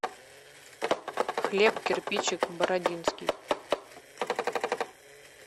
хлеб кирпичик бородинский